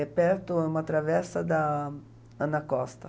É perto, é uma travessa da Ana Costa.